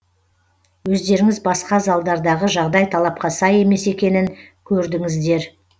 өздеріңіз басқа залдардағы жағдай талапқа сай емес екенін көрдіңіздер